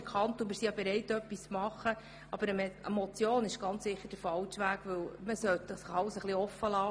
Wir sind auch bereit, etwas zu tun, aber eine Motion ist sicher der falsche Weg, denn man sollte das Ganze etwas offener lassen.